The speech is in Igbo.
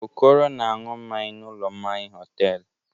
Okoro na-aṅụ mmanya n'ụlọ mmanya hotelụ.